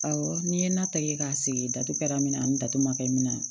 Awɔ n'i ye ne ta ye k'a sigi datugu kɛra min na ni datu ma kɛ mina